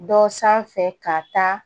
Dɔ sanfɛ ka taa